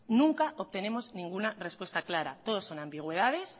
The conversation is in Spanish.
nunca obtenemos ninguna respuesta clara todo son ambigüedades